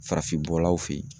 Farafin bɔlaw fe yen